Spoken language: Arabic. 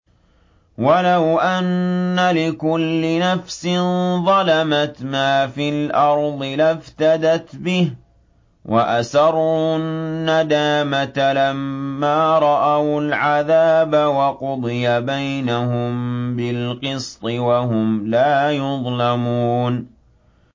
وَلَوْ أَنَّ لِكُلِّ نَفْسٍ ظَلَمَتْ مَا فِي الْأَرْضِ لَافْتَدَتْ بِهِ ۗ وَأَسَرُّوا النَّدَامَةَ لَمَّا رَأَوُا الْعَذَابَ ۖ وَقُضِيَ بَيْنَهُم بِالْقِسْطِ ۚ وَهُمْ لَا يُظْلَمُونَ